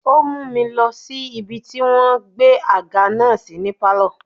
Ó mú mi lọ sí ibi tí wọ́n gbé àga náà sí ní pálọ̀.